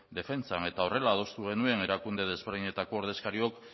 defentsan eta horrela adostu genuen erakunde ezberdinetako ordezkariok